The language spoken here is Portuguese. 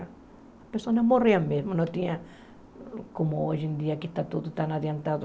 As pessoas morriam mesmo, não tinha como hoje em dia que está tudo tão adiantado.